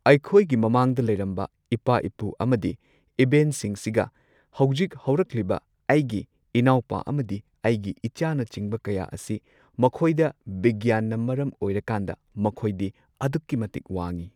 ꯑꯩꯈꯣꯏꯒꯤ ꯃꯃꯥꯡꯗ ꯂꯩꯔꯝꯕ ꯏꯄꯥ ꯏꯄꯨ ꯑꯃꯗꯤ ꯏꯕꯦꯟꯁꯤꯡꯁꯤꯒ ꯍꯧꯖꯤꯛ ꯍꯧꯔꯛꯂꯤꯕ ꯑꯩꯒꯤ ꯏꯅꯥꯎꯄꯥ ꯑꯃꯗꯤ ꯑꯩꯒꯤ ꯏꯆꯥꯅꯆꯤꯡꯕ ꯀꯌꯥ ꯑꯁꯤ ꯃꯈꯣꯏꯗ ꯕꯤꯒ꯭ꯌꯥꯟꯅ ꯃꯔꯝ ꯑꯣꯏꯔꯀꯥꯟꯗ ꯃꯈꯣꯏꯗꯤ ꯑꯗꯨꯛꯀꯤ ꯃꯇꯤꯛ ꯋꯥꯡꯉꯤ꯫